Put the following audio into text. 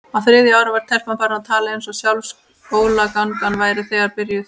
Á þriðja ári var telpan farin að tala eins og sjálf skólagangan væri þegar byrjuð.